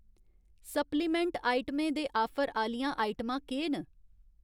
Supplement आइटमें दे offer आह्‌लियां आइटमां केह् न ?